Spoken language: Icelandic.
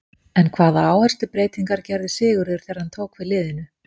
En hvaða áherslubreytingar gerði Sigurður þegar hann tók við liðinu?